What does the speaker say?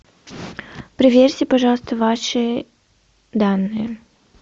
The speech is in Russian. проверьте пожалуйста ваши данные